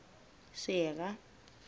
sera